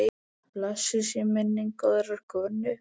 Blessuð sé minning góðrar konu.